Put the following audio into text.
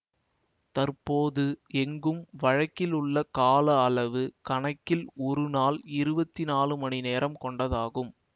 தற்போது எங்கும் வழக்கிலுள்ள கால அளவுக் கணக்கில் ஒரு நாள் இருவத்தி நாலு மணி நேரம் கொண்டதாகும்